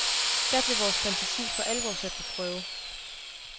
Da blev vores fantasi for alvor sat på prøve.